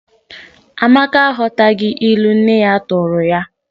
Amaka aghọtaghị ilu nne ya tụụrụ ya.